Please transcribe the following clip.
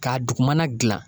K'a dugumana gilan.